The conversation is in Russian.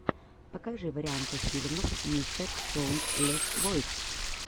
покажи варианты фильмов мистерсоундлесвойс